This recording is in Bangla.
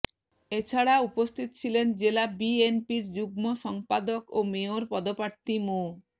এ ছাড়া উপস্থিত ছিলেন জেলা বিএনপির যুগ্ম সম্পাদক ও মেয়র পদপ্রার্থী মো